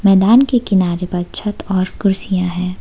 मैदान के किनारे पर छत और कुर्सियां है।